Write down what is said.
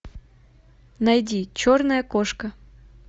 найди черная кошка